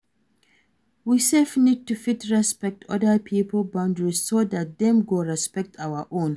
We sef need to fit respect oda pipo boundaries so dat dem go respect our own